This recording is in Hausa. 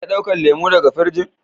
Zan iya dauka lemu daga firijin?